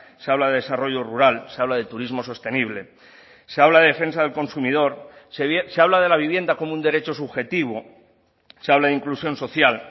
se habla de desarrollo rural se habla de turismo sostenible se habla de defensa del consumidor se habla de la vivienda como un derecho subjetivo se habla de inclusión social